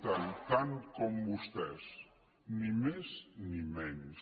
i tant com vostès ni més ni menys